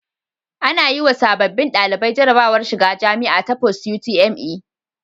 Ana yiwa sababbin ɗalibai jarabawar shiga jamia ta post UTME